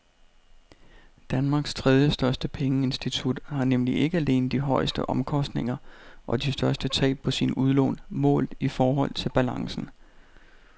Danmarks tredjestørste pengeinstitut har nemlig ikke alene de højeste omkostninger og de største tab på sine udlån målt i forhold til balancen.